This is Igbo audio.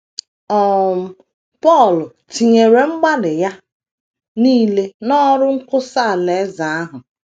um Pọl tinyere mgbalị ya nile n’ọrụ nkwusa Alaeze ahụ